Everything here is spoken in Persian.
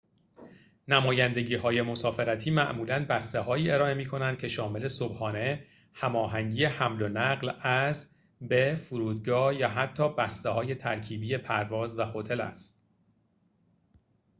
نمایندگی‌های مسافرتی معمولاً بسته‌هایی ارائه می‌کنند که شامل صبحانه، هماهنگی حمل‌و‌نقل از/به فرودگاه یا حتی بسته‌های ترکیبی پرواز و هتل است